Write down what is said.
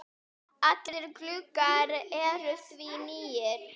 Allir gluggar eru því nýir.